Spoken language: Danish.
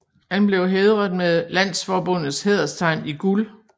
Han bkev hædret med landsforbundets hæderstegn i guld